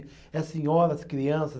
É senhoras, crianças.